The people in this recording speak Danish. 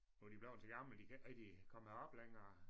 Nu er de bleven så gamle de kan ikke rigtig komme herop længere